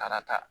Taara ta